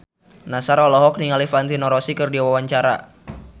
Nassar olohok ningali Valentino Rossi keur diwawancara